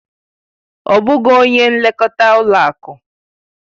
Ọ bụghị onye nlekọta ụlọ akụ.